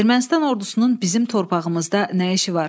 Ermənistan ordusunun bizim torpağımızda nə işi var?